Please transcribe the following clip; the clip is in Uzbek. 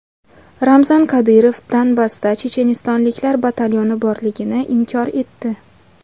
Ramzan Qodirov Donbassda chechenistonliklar batalyoni borligini inkor etdi.